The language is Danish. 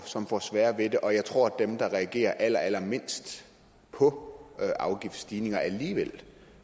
som får sværere ved det og jeg tror at de der reagerer allermindst på afgiftsstigninger